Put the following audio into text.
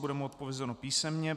Bude mu odpovězeno písemně.